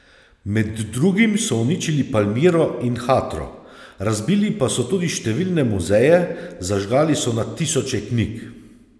Med drugim so uničili Palmiro in Hatro, razbili pa so tudi številne muzeje, zažgali so na tisoče knjig.